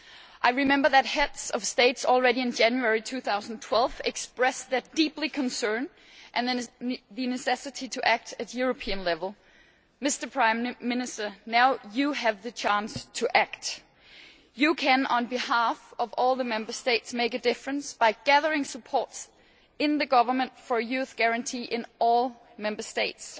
I remember that Heads of State already in January 2012 expressed their deep concern and the necessity to act at European level. Mr Prime Minister, now you have the chance to act. You can, on behalf of all the Member States, make a difference by gathering support in the governments for a youth guarantee in all Member States.